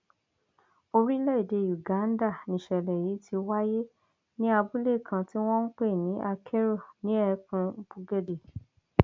orílẹèdè uganda nìṣẹlẹ yìí ti wáyé ní abúlé kan tí wọn ń pè ní akero ní ẹkùn bugedée